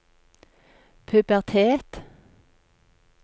pubertet